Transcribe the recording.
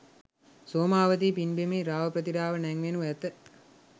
සෝමාවතී පින්බිමෙහි රාව ප්‍රතිරාව නැංවෙනු ඇත.